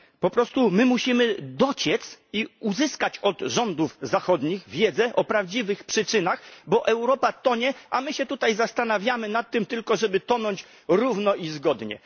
Po prostu my musimy dociec i uzyskać od rządów zachodnich wiedzę o prawdziwych przyczynach, bo Europa tonie, a my się tutaj zastanawiamy nad tym tylko, żeby tonąć równo i zgodnie.